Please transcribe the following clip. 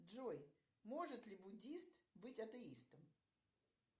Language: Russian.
джой может ли буддист быть атеистом